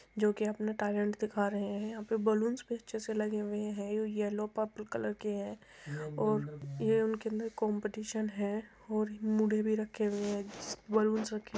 जो कि अपना टैलेंट दिखा रहे हैं। यहां पे बलूनस भी अच्छे से लगे हुए हैं। यलो पर्पल कलर के है और ये उनके अन्दर कम्पटीसन है और मुड़े भी रखे हैं। बलुंस रखे --